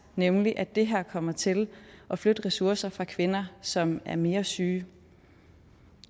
nemlig at det her kommer til at flytte ressourcer fra kvinder som er mere syge